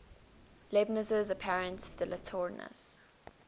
leibniz's apparent dilatoriness